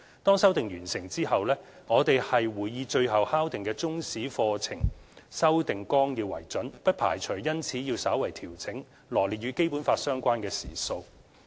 當修訂完成後，我們會以最後敲定的中史課程修訂綱要為準，不排除因此要稍為調整羅列與《基本法》相關的時數。